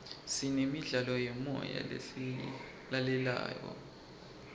sinemidlalo yemoya lesiyilalelayo